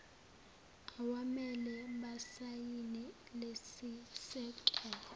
awamele basayine lesisekelo